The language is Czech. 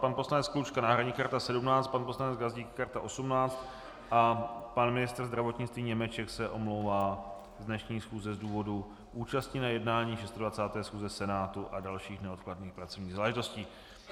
Pan poslanec Klučka náhradní karta 17, pan poslanec Gazdík karta 18 a pan ministr zdravotnictví Němeček se omlouvá z dnešní schůze z důvodu účasti na jednání 26. schůze Senátu a dalších neodkladných pracovních záležitostí.